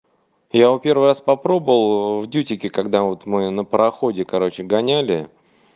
я его первый раз попробовал в дьютике когда вот мы на пароходе короче гоняли